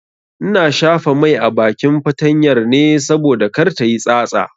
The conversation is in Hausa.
Ina shafa mai a bakin fatanyar ne saboda kar tayi tsatsa.